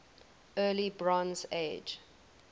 early bronze age